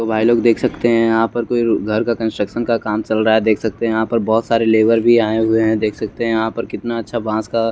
तो भाई लोग देख सकते है यहां पर कोई घर का कंस्ट्रक्शन का काम चल रा है देख सकते है यहां पर बहोत सारे लेबर भी आए हुए है देख सकते है यहां पर कितना अच्छा बांस का--